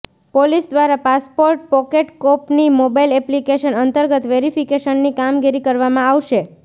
police દ્વારા passport પોકેટકોપની mobile application અંતર્ગત વેરિફીકેશનની કામગીરી કરવામાં આવશે